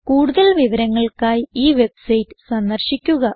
കൂടുതൽ വിവരങ്ങൾക്കായി ഈ വെബ്സൈറ്റ് സന്ദർശിക്കുക